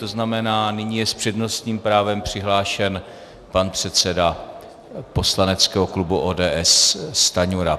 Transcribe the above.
To znamená, nyní je s přednostním právem přihlášen pan předseda poslaneckého klubu ODS Stanjura.